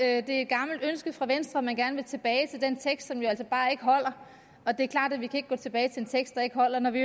at det er et gammelt ønske fra venstre at man gerne vil tilbage til den tekst som jo altså bare ikke holder og det er klart at vi ikke kan gå tilbage til en tekst der ikke holder når vi